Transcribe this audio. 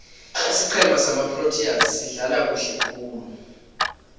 isiqhema samaproteas sidlala kuhle khulu